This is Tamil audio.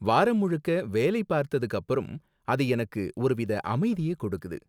வாரம் முழுக்க வேலை பார்த்ததுக்கு அப்பறம், அது எனக்கு ஒரு வித அமைதியை கொடுக்குது.